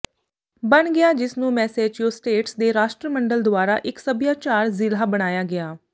ਬਣ ਗਿਆ ਜਿਸ ਨੂੰ ਮੈਸੇਚਿਉਸੇਟਸ ਦੇ ਰਾਸ਼ਟਰਮੰਡਲ ਦੁਆਰਾ ਇੱਕ ਸਭਿਆਚਾਰਕ ਜ਼ਿਲ੍ਹਾ ਬਣਾਇਆ ਗਿਆ